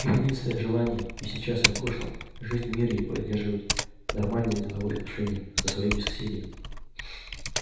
их единственное желание и сейчас и в прошлом жить в мире и поддерживать нормальные деловые отношения со своими соседями